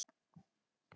Þeir auðguðu líf margra.